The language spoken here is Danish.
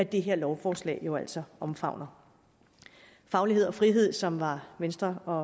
det her lovforslag jo altså omfavner faglighed og frihed som var venstre og